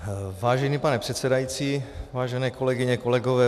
Vážený pane předsedající, vážené kolegyně, kolegové.